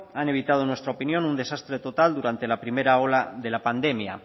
han evitado en nuestra opinión un desastre total durante la primera ola de la pandemia